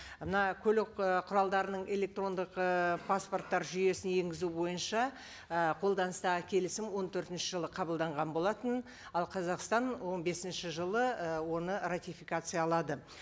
мына көлік ы құралдарының электрондық э паспорттар жүйесін енгізу бойынша і қолданыстағы келісім он төртінші жылы қабылданған болатын ал қазақстан он бесінші жылы ы оны ратификациялады